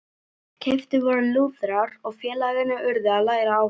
Keyptir voru lúðrar og félagarnir urðu að læra á þá.